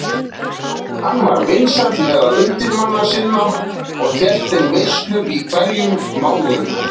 Hann var vinsæll meðal undirmanna sinna og hélt þeim veislur í hverjum mánuði.